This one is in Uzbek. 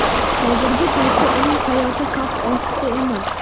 Hozirgi paytda uning hayoti xavf ostda emas.